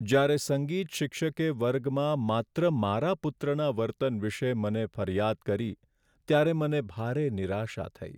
જ્યારે સંગીત શિક્ષકે વર્ગમાં માત્ર મારા પુત્રના વર્તન વિશે મને ફરિયાદ કરી ત્યારે મને ભારે નિરાશા થઈ.